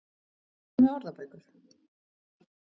Og hvað með orðabækur?